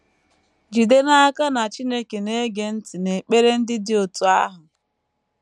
Jide n’aka na Chineke na - ege ntị n’ekpere ndị dị otú ahụ.